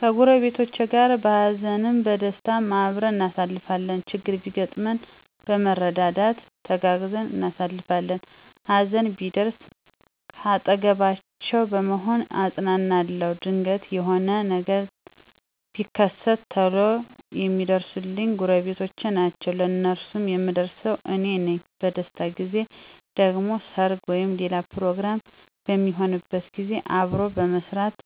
ከጎረቤቶቸ ጋር በሃዘንም በደስታም አብረን እናሳልፋለን። ችግር ቢያጋጥመን በመረዳዳት ተጋግዘን እናሳልፋለን። ሀዘን ቢደርስ ካጠገባቸዉ በመሆን አጵናናለዉ። ድንገት የሆነ ነገር ቢከት ቶሎ የሚደርሱልኝ ጎረቤቶቸ ናቸዉ። ለነሱም የምደርሰው አኔ ነኝ። በደስታ ጊዜ ደግሞ ሰርግ ወይም ሌላ ፕሮግራም በሚሆንበት ጊዜ አብሮ በመስራት